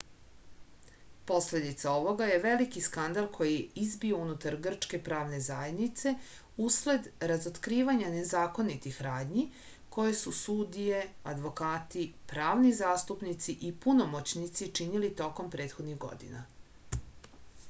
posledica ovoga je veliki skandal koji je izbio unutar grčke pravne zajednice usled razotkrivanja nezakonitih radnji koje su sudije advokati pravni zastupnici i punomoćnici činili tokom prethodnih godina